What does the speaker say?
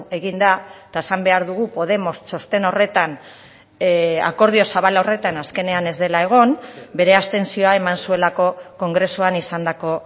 egin da eta esan behar dugu podemos txosten horretan akordio zabal horretan azkenean ez dela egon bere abstentzioa eman zuelako kongresuan izandako